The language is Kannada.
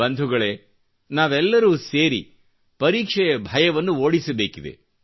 ಬಂಧುಗಳೆ ನಾವೆಲ್ಲರು ಸೇರಿ ಪರೀಕ್ಷೆಯ ಭಯವನ್ನು ಓಡಿಸಬೇಕಿದೆ